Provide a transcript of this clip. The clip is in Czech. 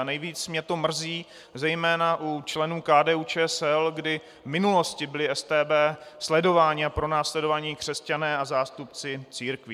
A nejvíc mě to mrzí zejména u členů KDU-ČSL, kdy v minulosti byli StB sledováni a pronásledováni křesťané a zástupci církví.